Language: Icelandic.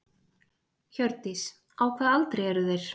Hjördís: Á hvaða aldri eru þeir?